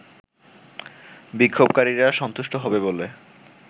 বিক্ষোভকারীরা সন্তুষ্ট হবে বলে